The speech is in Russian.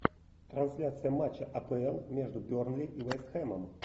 трансляция матча апл между бернли и вест хэмом